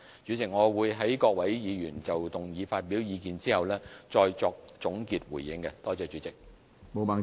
主席，我會在各位議員就議案發表意見後再作總結回應，多謝主席。